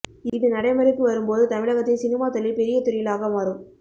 இது நடைமுறைக்கு வரும்போது தமிழகத்தில் சினிமா தொழில் பெரிய தொழிலாக மாறும்